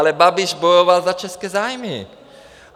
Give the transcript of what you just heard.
Ale Babiš bojoval za české zájmy.